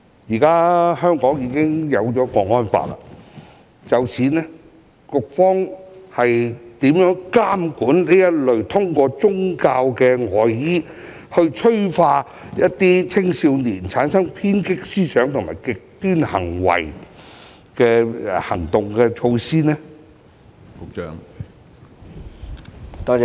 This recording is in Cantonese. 在制定《香港國安法》後，當局有何措施監管這類披着"宗教外衣"，催化青少年產生偏激思想和極端行為的行動？